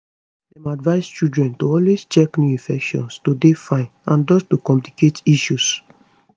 dem advise children to always check new infection to dey fine and dodge to complicate issues